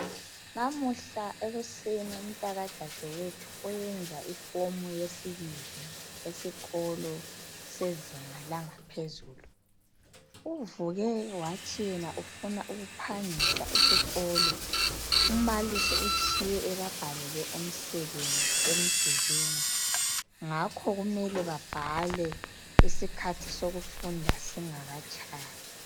Lamuhla ekuseni umtaka dadewethu oyenza ifomu yesibili esikolo sezinga langaphezulu uvuke wathi yena ufuna ukuphangisa esikolo umbalisi utshiye ebabhalele umsebenzi emdulini ngakho kumele babhale isikhathi sokufunda singakatshayi